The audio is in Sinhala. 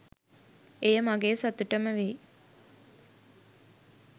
එය මගේ සතුටම වෙයි.